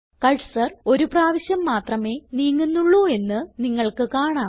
cursor ഒരു പ്രാവശ്യം മാത്രമേ നീങ്ങുന്നുള്ളൂ എന്ന് നിങ്ങൾക്ക് കാണാം